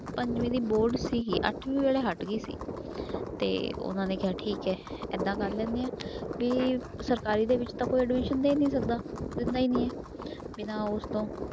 ਪੰਜਵੀਂ ਦੀ ਬੋਰਡ ਸੀਗੀ ਅੱਠਵੀਂ ਵੇਲੇ ਹਟ ਗਈ ਸੀ ਤੇ ਉਹਨਾਂ ਨੇ ਕਿਹਾ ਠੀਕ ਹੈ ਏਦਾਂ ਕਰ ਲੈਂਦੇ ਹਾਂ ਵੀ ਸਰਕਾਰੀ ਦੇ ਵਿੱਚ ਤਾਂ ਕੋਈ admission ਦੇ ਨੀ ਸਕਦਾ, ਦਿੰਦਾ ਹੀ ਨੀ ਹੈ ਬਿਨਾਂ ਉਸ ਤੋਂ